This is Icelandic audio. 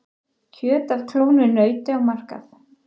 Kjöt af klónuðu nauti á markað